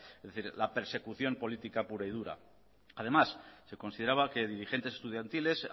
es decir la persecución política pura y dura además se consideraba que dirigentes estudiantiles